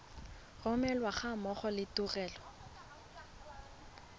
romelwa ga mmogo le tuelo